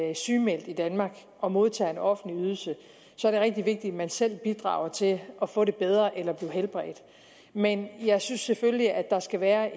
er sygemeldt i danmark og modtager en offentlig ydelse er det rigtig vigtigt at man selv bidrager til at få det bedre eller blive helbredt men jeg synes selvfølgelig at der skal være